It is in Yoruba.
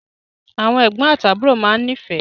Àwọn ẹgbọn àti àbúrò máa n ni ifẹ.